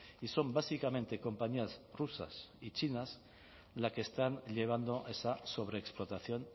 y son básicamente compañías rusas y chinas las que están llevando esa sobreexplotación